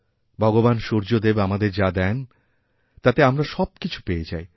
ভগবান সূর্যদেব আমাদের যাদেন তাতে আমরা সবকিছু পেয়ে যাই